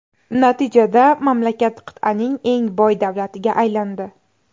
Natijada, mamlakat qit’aning eng boy davlatiga aylandi .